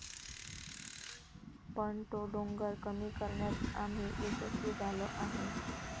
पण तो डोंगर कमी करण्यात आम्ही यशस्वी झालो आहे.